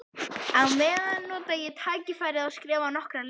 Á meðan nota ég tækifærið og skrifa nokkrar línur.